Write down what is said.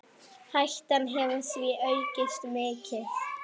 Hættan hefur því aukist mikið.